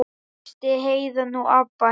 Fyrst Heiða, nú Abba hin.